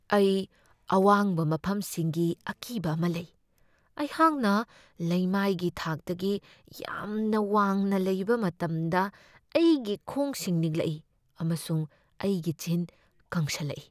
ꯑꯩ ꯑꯋꯥꯡꯕ ꯃꯐꯝꯁꯤꯡꯒꯤ ꯑꯀꯤꯕ ꯑꯃ ꯂꯩ꯫ ꯑꯩꯍꯥꯛꯅ ꯂꯩꯃꯥꯏꯒꯤ ꯊꯥꯛꯇꯒꯤ ꯌꯥꯝꯅ ꯋꯥꯡꯅ ꯂꯩꯕ ꯃꯇꯝꯗ ꯑꯩꯒꯤ ꯈꯣꯡꯁꯤꯡ ꯅꯤꯛꯂꯛꯏ, ꯑꯃꯁꯨꯡ ꯑꯩꯒꯤ ꯆꯤꯟ ꯀꯪꯁꯤꯜꯂꯛꯏ꯫